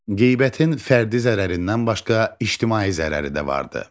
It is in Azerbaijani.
Qeybətin fərdi zərərindən başqa ictimai zərəri də vardır.